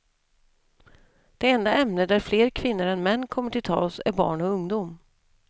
Det enda ämne där fler kvinnor än män kommer till tals är barn och ungdom.